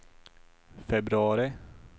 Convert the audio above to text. februari